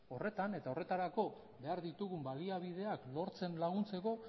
horretan eta horretarako behar ditugun baliabideak lortzen laguntzeko